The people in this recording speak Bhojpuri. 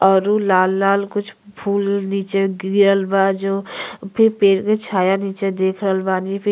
औरु लाल लाल कुछ फूल नीचे गिरल बा जो फिर पेड़ के छाया नीचे देख रहल बा आदमी। फि --